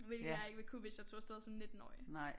Hvilket jeg ikke ville kunne hvis jeg tog af sted som nittenårig